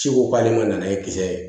Ci ko k'ale ma n'a ye kisɛ ye